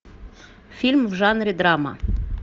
фильм в жанре драма